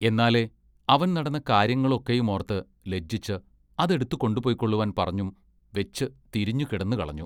എന്നാലേ അവൻ നടന്ന കാര്യങ്ങളൊക്കെയുമോർത്ത് ലജ്ജിച്ച് അതെടുത്ത് കൊണ്ടുപൊയ്ക്കൊള്ളുവാൻ പറഞ്ഞും വെച്ച് തിരിഞ്ഞു കിടന്നുകളഞ്ഞു.